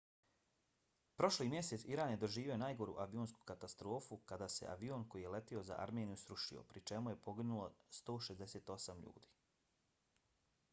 prošli mjesec iran je doživio najgoru avionsku katastrofu kada se avion koji je letio za armeniju srušio pri čemu je poginulo 168 ljudi